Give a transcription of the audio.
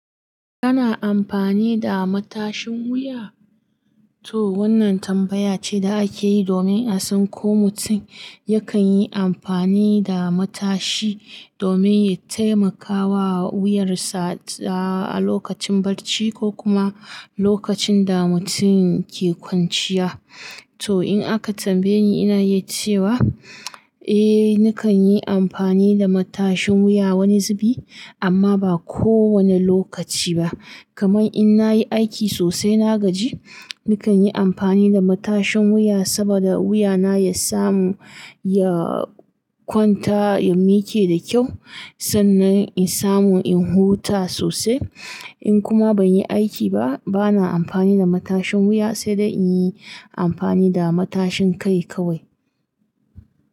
Kana amfani da matashin wuya? To wannan tambaya ce da ake yi domin a san ko mutum yakan yi amfani da matashi domin ya taimakawa wuyarsa a lokacin barci ko kuma lokacin da mutum ke kwanciya. To in aka tambaye ni, ina yi cewa, eh nakan yi amfani da matashin wuya wani zibi amma ba kowane lokaci ba. Kaman in na yi aiki sosai na gaji, nakan yi amfani da matashin wuya saboda wuyana ya samu ya kwanta ya miƙe da kyau sannan in samu in huta sosai. In kuma ban yi aiki ba, bana amfani da matashin wuya sai dai in yi amfani da matashin kai kawai.